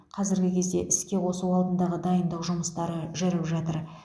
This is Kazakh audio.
қазіргі кезде іске қосу алдындағы дайындық жұмыстары жүріп жатыр